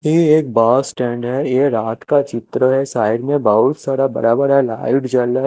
ये एक बड़ा स्टैंड है ये एक रात का चित्र है साइड में बहुत सारा बड़ा बड़ा लाइट जल रह है।